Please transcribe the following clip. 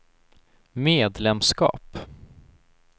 medlemskap